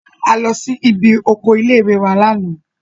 A lọ sí ibi oko ilé-ìwé náà ní àná